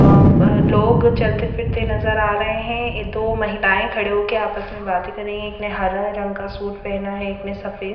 अ लोग चलते फिरते नज़र आ रहे हैं अ दो महिलाएं खड़े होके आपस में बातें कर रही हैं एक ने हरा रंग का सूट पहना है एक ने सफेद--